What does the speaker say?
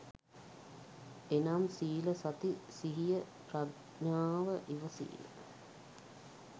එනම් සීල, සති සිහිය ප්‍රඥාව, ඉවසීම